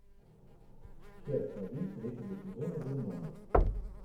часть один третьего сезона дурмана